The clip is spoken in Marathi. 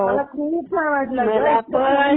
मला छान वाटलं हो. मला खूप छान वाटलं.